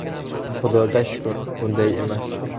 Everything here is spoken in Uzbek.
Xudoga shukr, bunday emas.